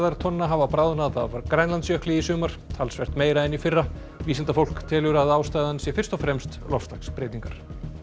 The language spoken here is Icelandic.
tonna hafa bráðnað af Grænlandsjökli í sumar talsvert meira en í fyrra vísindafólk telur að ástæðan sé fyrst og fremst loftslagsbreytingar